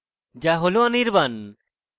যা হল anirban